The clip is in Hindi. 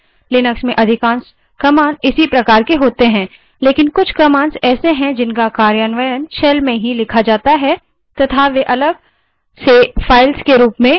लिनक्स में अधिकांश commands इसी प्रकार की होती हैं लेकिन कुछ commands ऐसी हैं जिनका कार्यान्वयन shell में ही लिखा जाता है तथा वे अलग files के रूप में नहीं होती